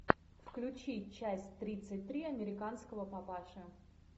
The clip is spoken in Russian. включи часть тридцать три американского папаши